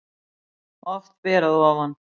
Oft ber að ofan